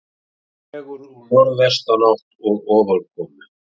Dregur úr norðvestanátt og ofankomu